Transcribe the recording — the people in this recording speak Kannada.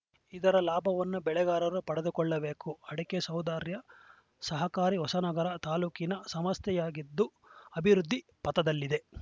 ಇದರ ಲಾಭವನ್ನು ಬೆಳೆಗಾರರು ಪಡೆದುಕೊಳ್ಳಬೇಕು ಅಡಕೆ ಸೌಹಾರ್ದ ಸಹಕಾರಿ ಹೊಸನಗರ ತಾಲೂಕಿನ ಸಂಸ್ಥೆಯಾಗಿದ್ದು ಅಭಿವೃದ್ಧಿ ಪಥದಲ್ಲಿದೆ